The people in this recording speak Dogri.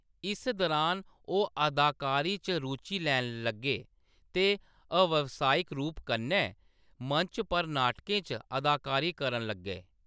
इस दरान ओह्‌‌ अदाकारी च रुचि लैन लग्गे ते अव्यवसायी रूप कन्नै मंच पर नाटकें च अदाकारी करन लग्गे।